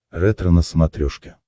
ретро на смотрешке